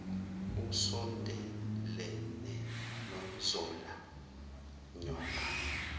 usondelene nozola nyoka